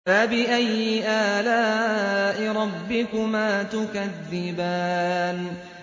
فَبِأَيِّ آلَاءِ رَبِّكُمَا تُكَذِّبَانِ